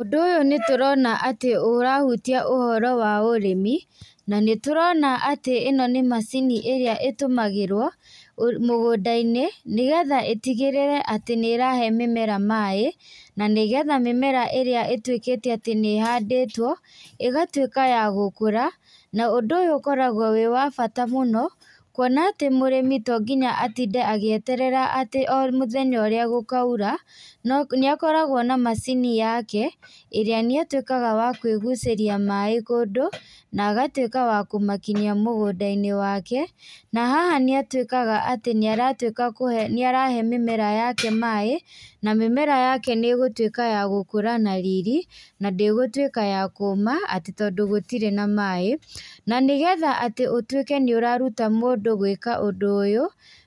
Ũndũ ũyũ nĩtũrona atĩ ũrahutia ũhoro wa ũrĩmi, na nĩtũrona atĩ ĩno nĩ macini ĩrĩa ĩtũmagĩrwo ũ mũgũnda-inĩ, nĩgetha ĩtigĩrĩre atĩ nĩrahe mĩmera maĩ, na nĩgetha mĩmera ĩrĩa ĩtwĩkĩte atĩ nĩhandĩtwo, ĩgatwíka ya gũkũra, na ũndũ ũyũ ũkoragwo wĩ wa bata mũno, kuona atĩ mũrĩmi tonginya atinde agĩeterera atĩ mũthenya ũrĩa gũkaura, no nĩakoragwo na macini yake, ĩrĩa nĩatwĩkaga wa kwĩgucĩria maĩ kũndũ, na agatwĩka wa kũmakinyia mũgũnda-inĩ wake, na haha nĩatwĩkaga atĩ nĩaratwĩka kũhe, nĩarahe mĩmera yake maĩ, na mĩmera yake nĩgũtwĩka ya gũkũra na riri, na ndĩgũtwĩka ya kũma atĩ tondũ gũtirĩ na maĩ, na nĩgetha atĩ ũtwĩke nĩũraruta mũndũ gwĩka ũndũ ũyũ,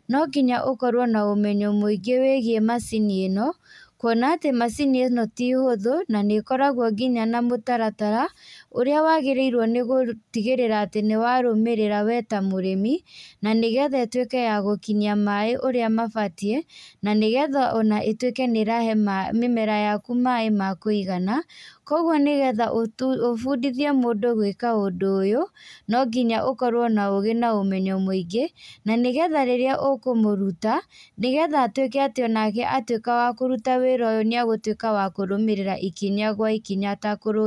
nonginya ũkorwo na ũmenyo mũingĩ wĩgie macini ĩno, kuona atĩ macini ĩno ti hũthũ, nanĩkoragwo nginya na mũtaratara, ũrĩa wagĩrĩirwo nĩgũtigĩrĩra atĩ nĩwarũmĩrĩra we ta mũrĩmi, na nĩgetha ĩtwĩke ya gũkinyia maĩ ũrĩa mabatiĩ, na nĩgetha ona ĩtwĩke nĩrahe ma mĩmera yaku maĩ ma kũigana, koguo nĩgetha ũtu ũbundithie mũndũ gwĩka ũndũ ũyũ, nonginya ũkorwo na ũgĩ na ũmenyo mũingĩ, na nĩgetha rĩrĩa ũkũmũruta, nĩgetha atwĩke atĩ onake atwĩka wa kũruta wĩra ũyũ nĩagũtwĩka wa kũrũmĩrĩra ikinya gwa ikinya atakurũ.